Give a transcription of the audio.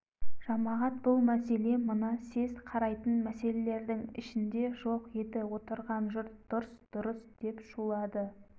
жамағат бұл мәселе мына съезд қарайтын мәселелердің ішінде жоқ еді отырған жұрт дұрыс дұрыс деп шулады